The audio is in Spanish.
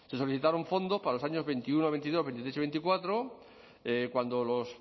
se solicitaron fondos para los años dos mil veintiuno dos mil veintidós dos mil veintitrés y dos mil veinticuatro cuando los